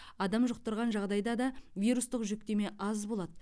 адам жұқтырған жағдайда да вирустық жүктеме аз болады